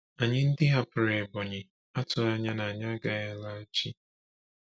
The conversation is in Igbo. Anyị ndị hapụrụ Ebonyi atụghị anya na anyị agaghị alaghachi.